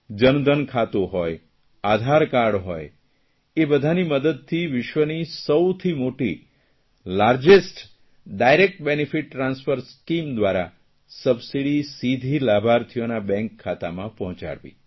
જનધન ખાતું હોય આધારકાર્ડ હોય એ બદાની મદદતી વિશ્વની સૌથી મોટી largest direct benefit transfer scheme દ્વારા સબસીડી સીધી લાભાર્થીઓના બેંક ખાતામાં પહોંચાડવી